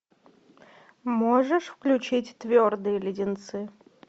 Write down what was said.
можешь включить твердые леденцы